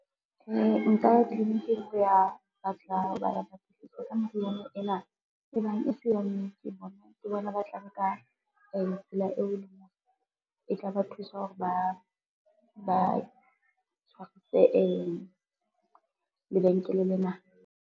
Nka ya tliliniking ho ya ba tla patlisiso ka meriana ena, e bang e se ya nnete ke bona ba tla nka tsela eo e leng hore e tla ba thusa hore ba tshwarise lebenkele lena.